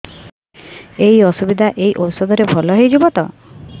ଏଇ ଅସୁବିଧା ଏଇ ଔଷଧ ରେ ଭଲ ହେଇଯିବ ତ